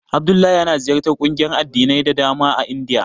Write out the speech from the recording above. Abdullahi yana ziyartar ƙungiyoyin addinai da dama a Indiya.